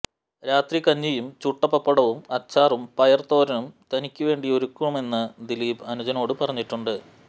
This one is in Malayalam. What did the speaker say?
രാത്രി കഞ്ഞിയും ചുട്ട പപ്പടവും അച്ചാറും പയർ തോരനും തനിക്ക്വേണ്ടി ഒരുക്കുമെന്ന് ദിലീപ്് അനുജനോടു പറഞ്ഞിട്ടുണ്ട്